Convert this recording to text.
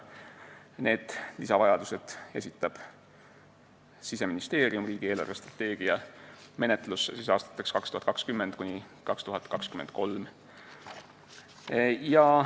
Need lisavajadused esitab Siseministeerium riigi eelarvestrateegia menetlusse aastateks 2020–2023.